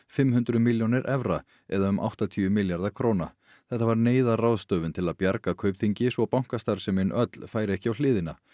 fimm hundruð milljónir evra eða um áttatíu milljarða króna þetta var neyðarráðstöfun til að bjarga Kaupþingi svo bankastarfsemin öll færi ekki á hliðina